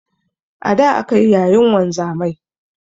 A da akayi yayin wanzamai